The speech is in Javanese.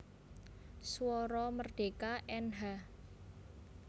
Suara Merdeka Nh